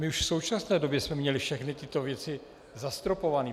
My už v současné době jsme měli všechny tyto věci zastropované.